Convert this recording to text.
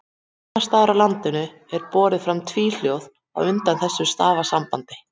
Annars staðar á landinu er borið fram tvíhljóð á undan þessu stafasambandi.